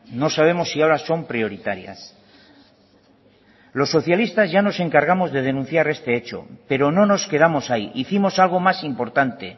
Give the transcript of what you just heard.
no sabemos si ahora son prioritarias los socialistas ya nos encargamos de denunciar este hecho pero no nos quedamos ahí hicimos algo más importante